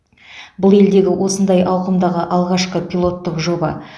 бұл елдегі осындай ауқымдағы алғашқы пилоттық жоба